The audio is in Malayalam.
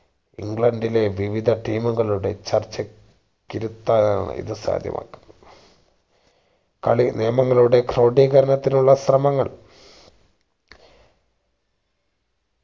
ഇംഗ്ലണ്ടിലെ വിവിധ team കളുടെ ചർച്ചയ്ക്ക് ഇരുത്താനാണ് ഇത് സാധ്യമാക്കി കളി നിയമങ്ങളുടെ ക്രോഡീകരണത്തിനുള്ള ശ്രമങ്ങൾ